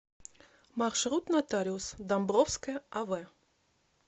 маршрут нотариус домбровская ав